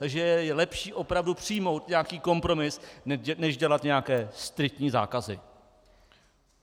Takže je lepší opravdu přijmout nějaký kompromis než dělat nějaké striktní zákazy.